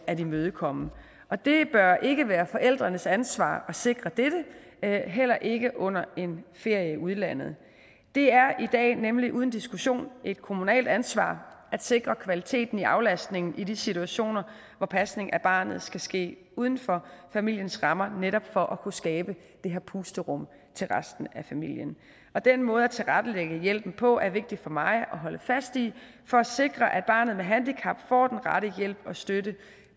at imødekomme og det bør ikke være forældrenes ansvar at sikre dette heller ikke under en ferie i udlandet det er i dag nemlig uden diskussion et kommunalt ansvar at sikre kvaliteten af aflastning i de situationer hvor pasning af barnet skal ske uden for familiens rammer netop for at kunne skabe det her pusterum til resten af familien den måde at tilrettelægge hjælpen på er vigtig for mig at holde fast i for at sikre at barnet med handicap får den rette hjælp og støtte